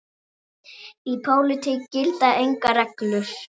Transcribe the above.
Í pólitík gilda engar reglur.